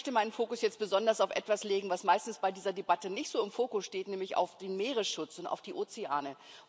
Ich möchte meinen Fokus jetzt besonders auf etwas legen, was meistens bei dieser Debatte nicht so im Fokus steht, nämlich auf den Meeresschutz und auf die Ozeane.